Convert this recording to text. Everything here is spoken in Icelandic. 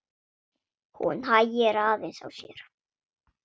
Hún hægir aðeins á sér.